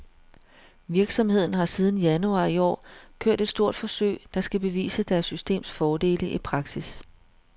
Virksomheden har siden januar i år kørt et stort forsøg, der skal bevise deres systems fordele i praksis.